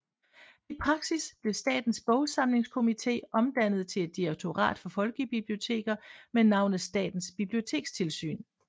I praksis blev Statens Bogsamlingskomité omdannet til et direktorat for folkebiblioteker med navnet Statens Bibliotekstilsyn